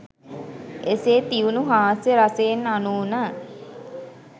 එසේ තියුණු හාස්‍ය රසයෙන් අනුන